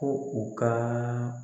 Ko u ka